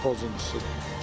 Qanun pozuntusudur.